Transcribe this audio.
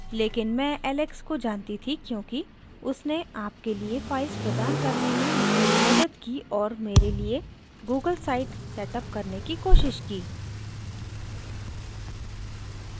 लेकिन मैं alex को जानती थी क्योंकि उसने आपके लिए files प्रदान करने में मेरी मदद की और मेरे लिए google site set अप करने की कोशिश की